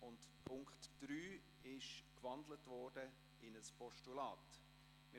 Der Punkt 3 wurde in ein Postulat gewandelt.